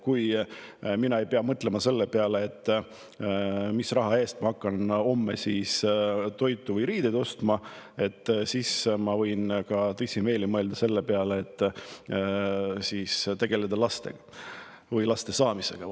Kui mina ei pea mõtlema selle peale, mis raha eest ma hakkan homme toitu või riideid ostma, siis ma võin ka tõsimeeli mõelda selle peale, et tegeleda laste saamisega.